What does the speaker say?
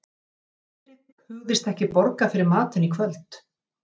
Friðrik hugðist ekki borga fyrir matinn í kvöld.